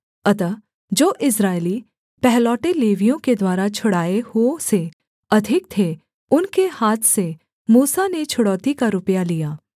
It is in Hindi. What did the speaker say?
अतः जो इस्राएली पहलौठे लेवियों के द्वारा छुड़ाए हुओं से अधिक थे उनके हाथ से मूसा ने छुड़ौती का रुपया लिया